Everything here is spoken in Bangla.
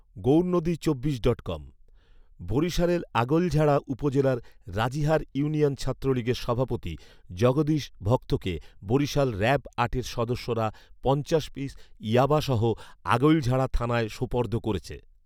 গৌরনদী চব্বিশ ডট কম, বরিশালের আগৈলঝাড়া উপজেলার রাজিহার ইউনিয়ন ছাত্রলীগের সভাপতি জগদীশ ভক্তকে বরিশাল র‍্যাব আটের সদস্যরা পঞাশ পিস ইয়াবাসহ আগৈলঝাড়া থানায় সোপর্দ করেছে